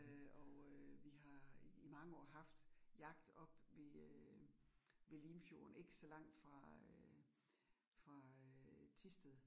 Øh og øh vi har i i mange år haft jagt oppe ved øh ved Limfjorden ikke så langt fra øh fra øh Thisted